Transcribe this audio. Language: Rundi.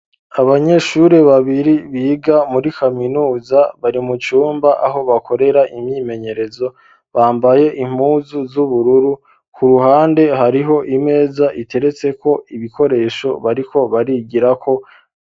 Abanyeshure babiri biga muri kaminuza bari mu cumba aho bakorera imyimenyerezo, bambaye impuzu z'ubururu , ku ruhande hariho imeza iteretseko ibikoresho bariko barigirako.